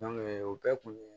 o bɛɛ kun ye